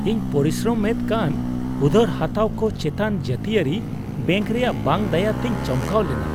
ᱤᱧ ᱯᱚᱨᱤᱥᱨᱚᱢ ᱮᱫ ᱠᱟᱱ ᱩᱫᱷᱟᱹᱨ ᱦᱟᱛᱟᱣ ᱠᱚ ᱪᱮᱛᱟᱱ ᱡᱟᱹᱛᱤᱭᱟᱹᱨᱤ ᱵᱮᱝᱠ ᱨᱮᱭᱟᱜ ᱵᱟᱝ ᱫᱟᱭᱟ ᱛᱮᱧ ᱪᱚᱢᱠᱟᱣ ᱞᱮᱱᱟ ᱾